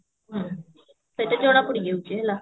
ହୁଁ ସେଇଟା ଜଣା ପଡିଯାଉଛି ହେଲା